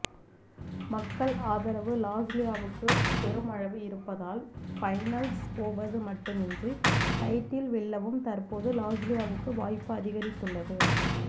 மக்கள் ஆதரவு லாஸ்லியாவுக்கு பெருமளவு இருப்பதால் பைன்லஸ் போவது மட்டுமின்றி டைட்டில் வெல்லவும் தற்போது லாஸ்லியாவுக்கு வாய்ப்பு அதிகரித்துள்ளது